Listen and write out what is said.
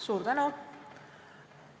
Suur tänu!